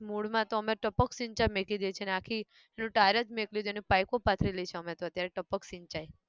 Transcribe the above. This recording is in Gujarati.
મૂળ માં તો અમે ટપક સિંચાઈ મેકી દઈએ છે ને આખી પેલું tyre જ મેક્લ્યું છે ને પાઇપો પાથરેલી છે અમે તો અત્યારે ટપક સિંચાઈ